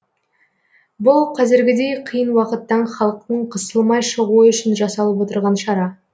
бұл қазіргідей қиын уақыттан халықтың қысылмай шығуы үшін жасалып отырған шара